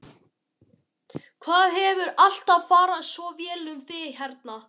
Það hefur alltaf farið svo vel um þig hérna.